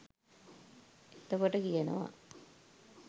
එතකොට කියනවා